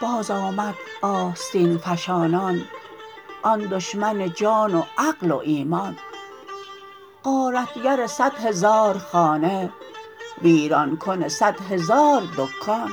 بازآمد آستین فشانان آن دشمن جان و عقل و ایمان غارتگر صد هزار خانه ویران کن صد هزار دکان